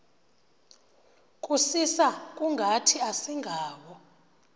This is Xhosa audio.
kusisa kungathi asingawo